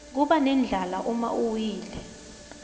kubanendlala uma uwile